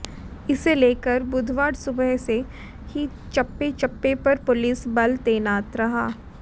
इसे लेकर बुधवार सुबह से ही चप्पे चप्पे पर पुलिस बल तैनात रहा